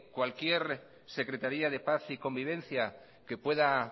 cualquier secretaría de paz y convivencia que pueda